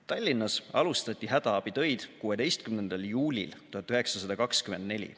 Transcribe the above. Tallinnas alustati hädaabitöid 16. juulil 1924.